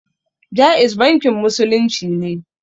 Ja'iz bankin musulunci ne